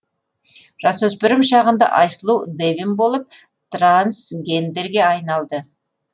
жасөспірім шағында айсұлу дэвин болып трансгендерге айналды